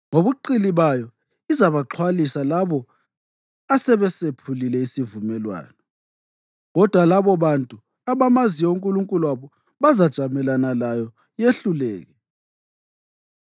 Ngobuqili bayo izabaxhwalisa labo asebesephulile isivumelwano, kodwa labobantu abamaziyo uNkulunkulu wabo bazajamelana layo yehluleke.